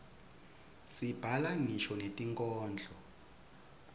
sibhala ngisho netinkhondlo